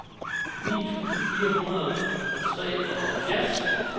nitten tusind fire hundrede og treoghalvfjerds